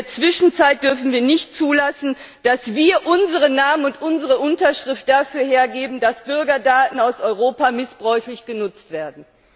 In der Zwischenzeit dürfen wir nicht zulassen, dass wir unseren Namen und unsere Unterschrift dafür hergeben, dass Bürgerdaten aus Europa missbräuchlich genutzt werden!